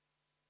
Aitäh!